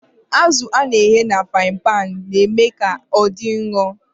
Azụ a na-eghe na frain-panu na-eme ka ọ dị nro.